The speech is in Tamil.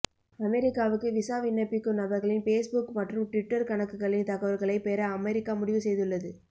அமெரிக்காவுக்கு விசா விண்ணப்பிக்கும் நபர்களின் பேஸ்புக் மற்றும் ட்விட்டர் கணக்குகளின் தகவல்களை பெற அமெரிக்கா முடிவுசெய்துள்ளது